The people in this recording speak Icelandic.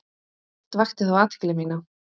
Eitt vakti þó athygli mína.